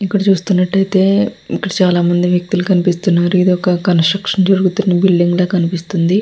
ఇక్కడ చూస్తున్నట్లయితే ఇక్కడ చాలామంది వ్యక్తులు కనిపిస్తున్నారు ఇదొక కన్స్ట్రక్షన్ జరుగుతున్న బిల్డింగ్లా కనిపిస్తుంది.